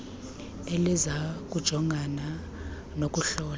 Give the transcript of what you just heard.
eliza kujongana nokuhlola